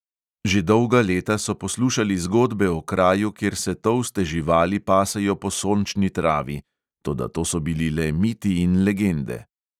Že dolga leta so poslušali zgodbe o kraju, kjer se tolste živali pasejo po sončni travi; toda to so bili le miti in legende.